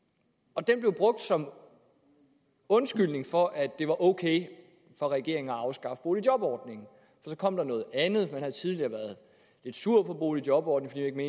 og den blev brugt som undskyldning for at det var ok for regeringen at afskaffe boligjobordningen der kom noget andet og man havde tidligere været lidt sure på boligjobordningen